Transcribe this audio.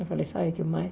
Eu falei, sabe o que mais?